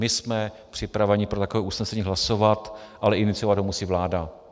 My jsme připraveni pro takové usnesení hlasovat, ale iniciovat ho musí vláda.